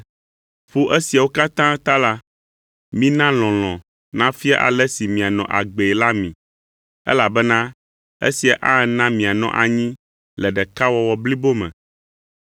Ƒo esiawo katã ta la, mina lɔlɔ̃ nafia ale si mianɔ agbee la mi, elabena esia ana be mianɔ anyi le ɖekawɔwɔ blibo me.